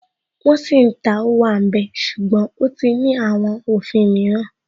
Wọ́n sì ń ta Ówàmbẹ̀ ṣùgbọ́n ó ti ní àwọn òfin mìíràn